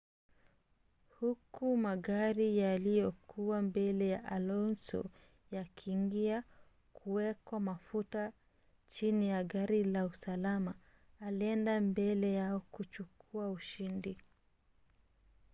huku magari yaliyokuwa mbele ya alonso yakiingia kuwekwa mafuta chini ya gari la usalama alienda mbele yao kuchukua ushindi